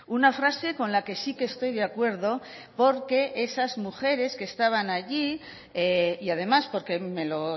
una frase con la que sí que estoy de acuerdo porque esas mujeres que estaban allí y además porque me lo